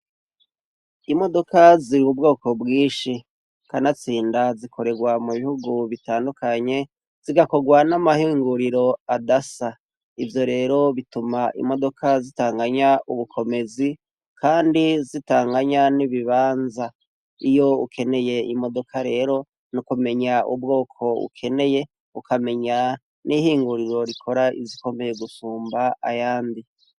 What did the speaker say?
Imodoka ziri ubwoko bwinshi ka natsinda zikorerwa mu bihugu bitandukanye zigakorwa n'amahinguriro adasa ivyo rero bituma imodoka zitanganya ubukomezi, kandi zitanganya n'ibibanza iyo ukeneye imodoka rero nuku menya ubwoko ukeneye ukamenya n'ihinguriro rikora izikomeye gusumba ayandi.